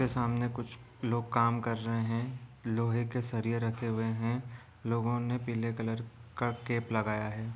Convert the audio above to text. उसके सामने कुछ लोग काम कर रहे है लोहे के सरिए रखे हुए है लोगो ने पीले कलर का कैप लगाया है।